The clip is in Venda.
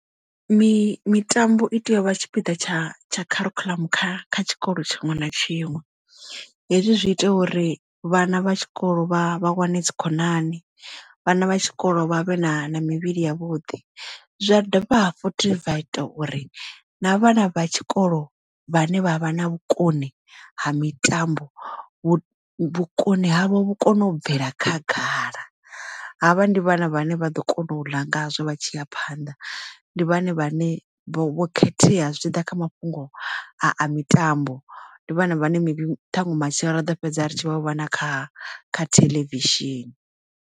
Mitambo i tea u vha tshipiḓa tsha tsha kharikhuḽamu kha kha tshikolo tshiṅwe na tshiṅwe, hezwi zwi ita uri vhana vha tshikolo vha vha wane dzikhonani vhana vha tshikolo vha vhe na na mivhili ya vhuḓi zwa dovha futhi zwa ita uri na vhana vha tshikolo vhane vhavha na vhukoni ha mitambo vhukoni havho vhu kone u bvela khagala. Havha ndi vhana vhane vha ḓo kona u ḽa ngazwo vha tshi ya phanḓa ndi vhone vhane vho khethea zwi tshi ḓa kha mafhungo a mitambo ndi vhana vhane maybe ṱhaṅwe matshelo ra ḓo fhedza ri tshi vha vhona kha kha theḽevishini.